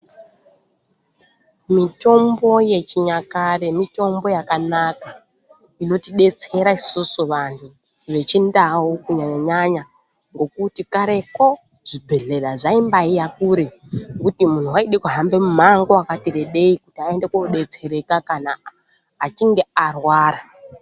Mitombo yechinyakare mitombo yakanaka inotidetsera isusu vanhu vechindau kunyanya nyanya ngekuti kareko zvibhedhlera zvaimbaiya kure kuti munhu waide kuhamba mimango yakarebei kuti aone koodetsereka kana achinge arwara.